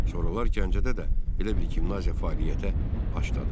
Sonralar Gəncədə də belə bir gimnaziya fəaliyyətə başladı.